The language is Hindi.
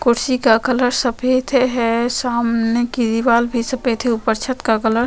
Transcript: कुर्सी का कलर सफ़ेद है सामने की दिवाल भी सफ़ेद है ऊपर छत का कलर --